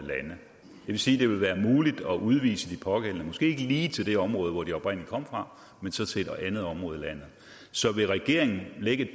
sige at det vil være muligt at udvise de pågældende måske ikke lige til det område hvor de oprindelig kom fra men så til et andet område i landet så vil regeringen lægge et